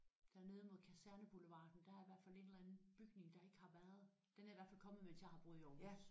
Dernede mod Kaserneboulevarden der er i hvert fald en eller anden bygning der ikke har været. Den er i hvert fald kommet mens jeg har boet i Aarhus